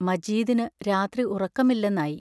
മജീദിനു രാത്രി ഉറക്കമില്ലെന്നായി.